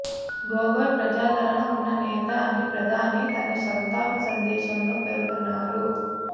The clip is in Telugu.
గొగోయ్ ప్రజాదరణ ఉన్న నేత అని ప్రధాని తన సంతాప సందేశంలో పేర్కొన్నారు